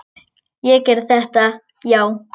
Ég gerði þetta, já.